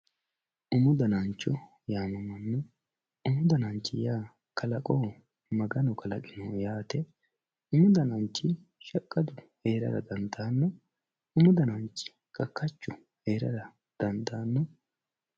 Umu dananicho yaano umu dananicho yaa kalaqo umu dananichi shaqadu heerara danidano umu dananichi kaajjadu heerrara dandanno